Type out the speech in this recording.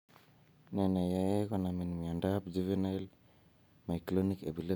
Ne neyoe konamin miondap juvenile myoclonic epilepsy?